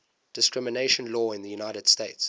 discrimination law in the united states